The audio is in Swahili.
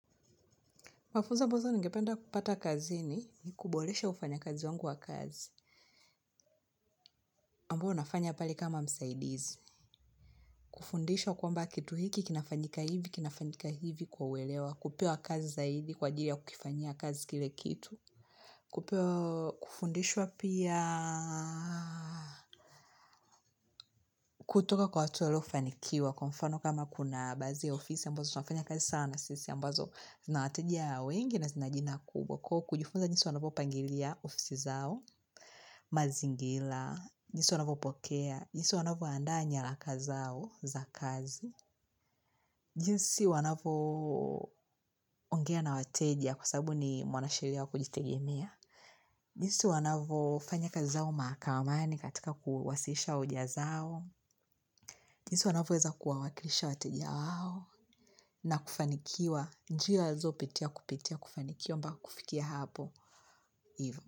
Mafuzo ambazo ningependa kupata kazini kuboresha ufanya kazi wangu wa kazi. Ambao nafanya pale kama msaidizi. Kufundishwa kwamba kitu hiki kinafanyika hivi, kinafanyika hivi kwa uelewa. Kupewa kazi zaidi kwa ajili ya kukifanyia kazi kile kitu. Kupewa kufundishwa pia kutoka kwa watu waliofanikiwa. Kwa mfano kama kuna baadhi ya ofisi ya ambozo. Tunafanya kazi sana sisi ya ambazo zinawateja wengi na zinajina kubwa. Kwa kujifunza jinsi wanavyo pangilia ofisi zao mazingira, jinsi wanavyopokea jinsi wanavyo andaa nyaraka zao za kazi jinsi wanavyo ongea na wateja kwa sababu ni mwanasheria wa kujitegemea jinsi wanavo fanya kazi zao mahakamani katika kuwasilisha hoja zao jinsi wanavyo weza kuwawakilisha wateja wao na kufanikiwa njia walizo ptia kupitia kufanikiwa mpaka kufikia hapo ivo.